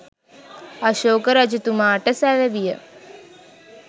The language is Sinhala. අශෝක රජතුමාට සැලවිය.